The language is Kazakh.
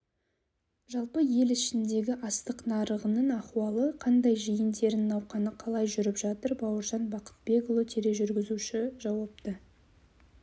жалпы ел ішіндегі астық нарығының ахуалы қандай жиын-терін науқаны қалай жүріп жатыр бауыржан бақытбекұлы тележүргізуші жауапты